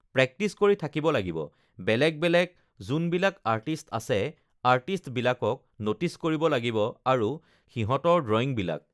practice কৰি থাকিব লাগিব বেলেগ বেলেগ যোনবিলাক আৰ্টিস্ট আছে আৰ্টিস্টবিলাকক ন'টিচ কৰিব লাগিব আৰু সিহঁতৰ ড্ৰয়িংবিলাক